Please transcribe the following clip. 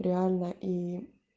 реально и